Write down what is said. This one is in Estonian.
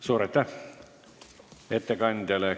Suur aitäh ettekandjale!